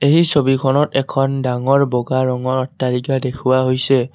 এই ছবিখনত এখন ডাঙৰ বগা ৰঙৰ অট্টালিকা দেখুওৱা হৈছে।